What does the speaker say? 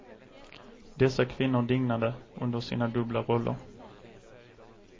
Dessa kvinnor dignade under sina dubbla roller.